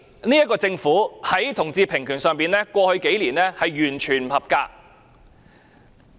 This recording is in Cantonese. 這個政府在同志平權上，過去數年的表現完全不合格。